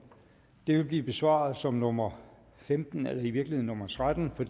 det vil blive besvaret som nummer femten eller i virkeligheden nummer tretten for